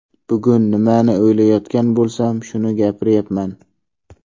Bugun nimani o‘ylayotgan bo‘lsam, shuni gapiryapman.